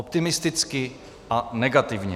Optimisticky a negativně.